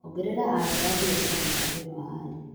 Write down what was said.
Ongerera aria a biacara mũbango-inĩ wa aria.